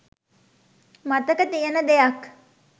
මතක තියෙන දෙයක්..